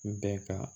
Bɛɛ ka